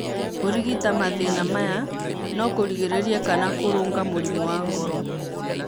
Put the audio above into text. Kũrigita mathĩĩna maya no kũrigĩrĩrie kana kũrũnga mũrimũ wa ngoro.